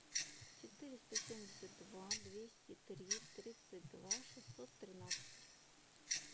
четыреста семьдесят два двести три тридцать два шестьсот тринадцать